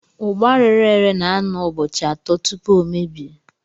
Ugba rere ere na-anọ ụbọchị atọ tupu ọ mebie.